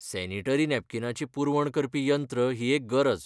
Sanitary नॅपकीनाची पुरवण करपी यंत्र ही एक गरज.